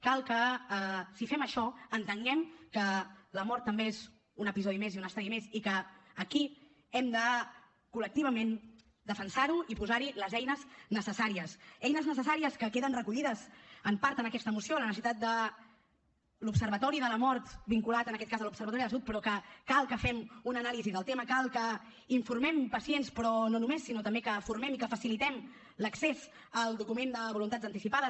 cal que si fem això entenguem que la mort també és un episodi més i un estadi més i que aquí hem de col·lectivament defensar ho i posar hi les eines necessàries eines necessàries que queden recollides en part en aquesta moció la necessitat de l’observatori de la mort vinculat en aquest cas a l’observatori de la salut però cal que fem una anàlisi del tema cal que informem pacients però no només sinó també que formem i que facilitem l’accés al document de voluntats anticipades